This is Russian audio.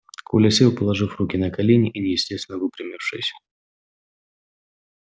коля сел положив руки на колени и неестественно выпрямившись